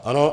Ano.